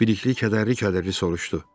Bəlikli kədərli-kədərli soruşdu.